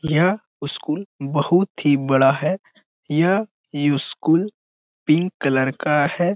यह स्कूल बहुत ही बड़ा है यह स्कूल पिंक कलर का है।